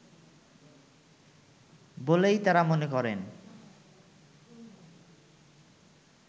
বলেই তারা মনে করেন